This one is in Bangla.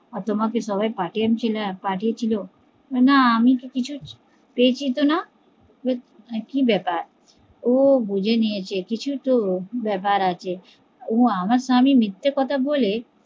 আর তোমাকে সবাই পাঠিয়েছিল বলে না আমি তো কিছু পেয়েছি তো না, মানে কি ব্যাপার, ও বুজেনিয়েছে কিছু ত ব্যাপার আছে আমার স্বামী মিথ্যে কথা বলে